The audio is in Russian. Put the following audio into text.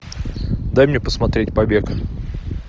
дай мне посмотреть побег